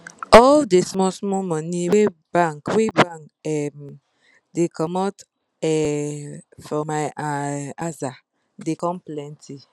all d small small money wey bank wey bank um da comot um from my um aza da come plenty